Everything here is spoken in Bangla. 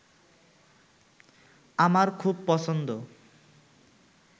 আমার খুব পছন্দ